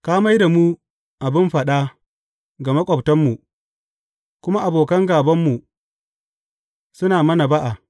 Ka mai da mu abin faɗa ga maƙwabtanmu, kuma abokan gābanmu suna mana ba’a.